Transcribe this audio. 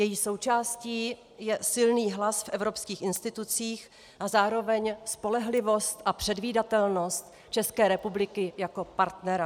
Její součástí je silný hlas v evropských institucích a zároveň spolehlivost a předvídatelnost České republiky jako partnera.